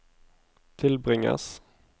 tilbringes